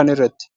kan irratti.